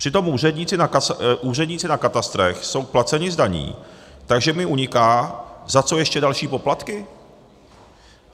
Přitom úředníci na katastrech jsou placeni z daní, takže mi uniká, za co ještě další poplatky.